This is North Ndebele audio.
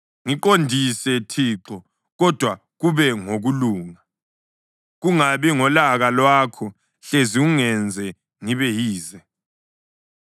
Ngiqondise Thixo, kodwa kube ngokulunga, kungabi ngolaka lwakho, hlezi ungenze ngibe yize.